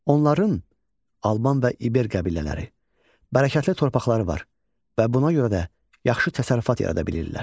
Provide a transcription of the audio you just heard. Onların Alban və İber qəbilələri bərəkətli torpaqları var və buna görə də yaxşı təsərrüfat yarada bilirlər.